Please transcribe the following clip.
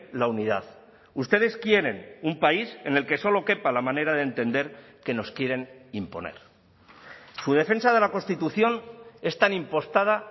la unidad ustedes quieren un país en el que solo quepa la manera de entender que nos quieren imponer su defensa de la constitución es tan impostada